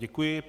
Děkuji.